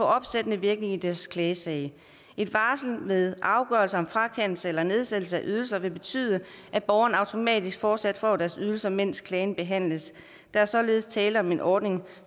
opsættende virkning i deres klagesag et varsel ved afgørelser om frakendelse eller nedsættelse af ydelser vil betyde at borgerne automatisk fortsat får deres ydelser mens klagen behandles der er således tale om en ordning